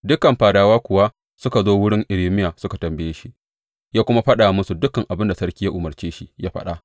Dukan fadawa kuwa suka zo wurin Irmiya suka tambaye shi, ya kuma faɗa musu dukan abin da sarki ya umarce shi ya faɗa.